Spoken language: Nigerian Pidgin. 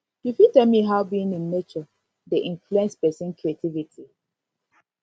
you fit tell me how being in nature dey in nature dey influence pesin creativity